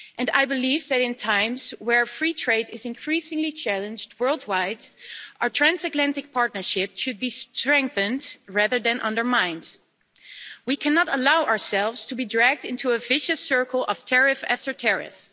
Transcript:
I believe that in times where free trade is increasingly challenged worldwide, our transatlantic partnership should be strengthened rather than undermined. We cannot allow ourselves to be dragged into a vicious circle of tariff after tariff.